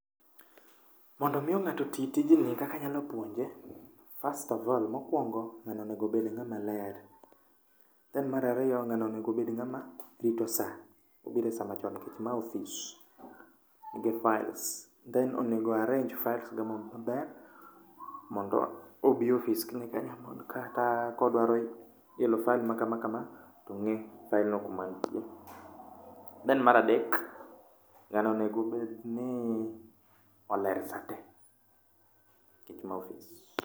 Mondomiyo ng'ato tiyo tijni kaka anyapuonje, first of all, mokwongo ng'ani onego ng'ama ler. Then marariyo ng'ani onego obed ng'ama rito sa, obiresamachon nikech ma ofis nigi files. Then onego o arrange files ge maber mondo obi e ofis kiny ekodwa kodwaro elo file ma kama kama tong'e kuma file no nitie. Then maradek, ng'ani onego obedni oler sate nikech ma ofis.